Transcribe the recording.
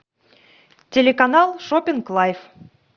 телеканал шоппинг лайф